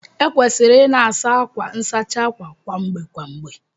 Ekwesịrị ị na-asa akwa nsachi àkwà kwa mgbe kwa mgbe